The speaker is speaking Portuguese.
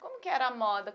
Como que era a moda?